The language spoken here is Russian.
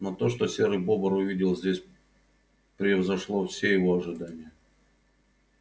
но то что серый бобр увидел здесь превзошло все его ожидания